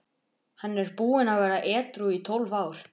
Hann er búinn að vera edrú í tólf ár.